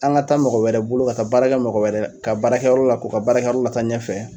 An ka taa mɔgɔ wɛrɛ bolo ka taa baarakɛ mɔgɔ wɛrɛ ka baarakɛyɔrɔ la k'u ka baarakɛyɔrɔw lata ɲɛfɛ.